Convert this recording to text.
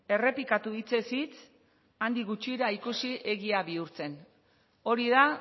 errepikatu hitzez hitz handik gutxira ikusi egia bihurtzen hori da